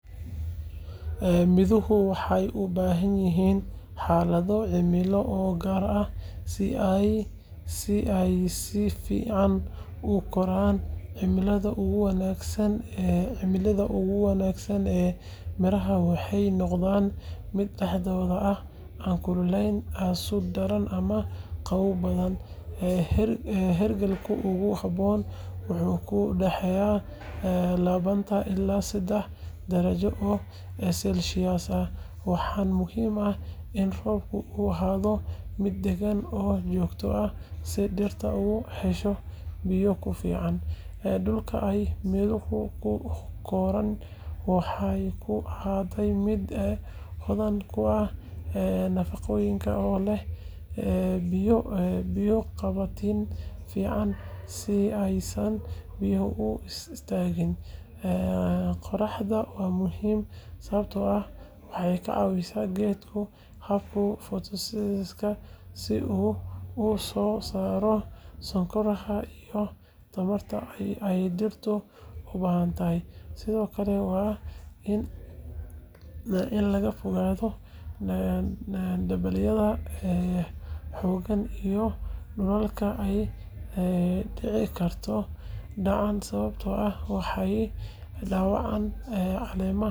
Midhuhu waxay u baahanyihiin xaalado cimilo oo gaar ah si ay si fiican u koraan. Cimilada ugu wanaagsan ee midhaha waxay noqonaysaa mid dhexdhexaad ah, aan kululayn aad u daran ama qabow badan. Heerkulka ugu habboon wuxuu u dhexeeyaa labaatan ilaa soddon darajo oo Celsius, waxaana muhiim ah in roobku uu ahaado mid deggan oo joogto ah si dhirta u hesho biyo ku filan. Dhulka ay midhuhu ku koraan waa in uu ahaadaa mid hodan ku ah nafaqooyinka oo leh biyo qabatin fiican si aysan biyuhu u istaagin. Qorraxda waa muhiim sababtoo ah waxay ka caawisaa geedka habka photosynthesis-ka si uu u soo saaro sonkoraha iyo tamarta ay dhirtu u baahantahay. Sidoo kale, waa in laga fogaadaa dabaylaha xooggan iyo dhulalka ay dhici karto dhaxan, sababtoo ah waxay dhaawacaan caleemaha iyo ubaxa midhaha. Sidaas darteed, cimilo diiran, qoyaan dhexdhexaad ah, roob joogto ah iyo qorrax fiican ayaa ah xaaladaha ugu wanaagsan ee korriimada midhaha.